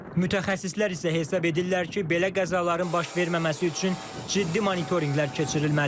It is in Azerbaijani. Mütəxəssislər isə hesab edirlər ki, belə qəzaların baş verməməsi üçün ciddi monitorinqlər keçirilməli.